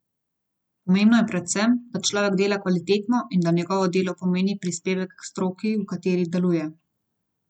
Pomembno je predvsem, da človek dela kvalitetno in da njegovo delo pomeni prispevek k stroki, v kateri deluje.